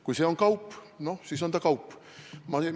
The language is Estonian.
Kui see on kaup, no siis on see kaup.